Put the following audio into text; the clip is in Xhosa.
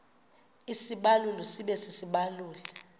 isibaluli sibe sisibaluli